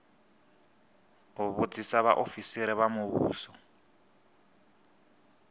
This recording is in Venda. u vhudzisa vhaofisiri vha muvhuso